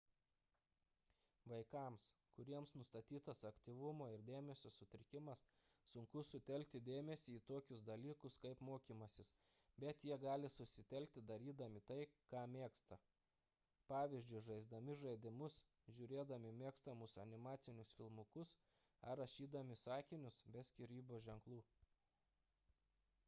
vaikams kuriems nustatytas aktyvumo ir dėmesio sutrikimas sunku sutelkti dėmesį į tokius dalykus kaip mokymasis bet jie gali susitelkti darydami tai ką mėgsta pvz. žaisdami žaidimus žiūrėdami mėgstamus animacinius filmukus ar rašydami sakinius be skyrybos ženklų